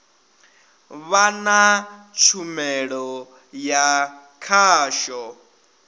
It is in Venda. vha na tshumelo ya khasho